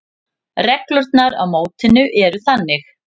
Reglurnar á mótinu eru þannig: